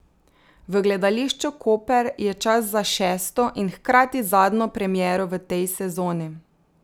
V Gledališču Koper je čas za šesto in hkrati zadnjo premiero v tej sezoni.